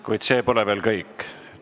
Kuid see pole veel kõik.